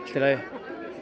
í lagi